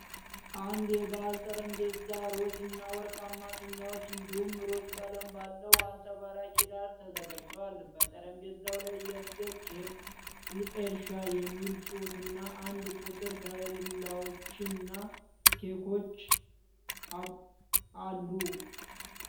አንድ የበአል ጠረጴዛ፣ ሮዝ እና ወርቃማ ፊኛዎች እንዲሁም ሮዝ ቀለም ባለው አንጸባራቂ ዳራ ተዘጋጅቷል። በጠረጴዛው ላይ የልደት ኬክ፣ "ኤልሻ" የሚል ጽሑፍና "1" ቁጥር፣ ከረሜላዎች እና ኬክፖፖች አሉ።